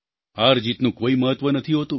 હારજીતનું કોઈ મહત્ત્વ નથી હોતું